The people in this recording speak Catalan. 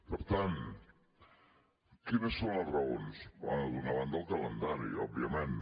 per tant quines són les raons bé d’una banda el calendari òbviament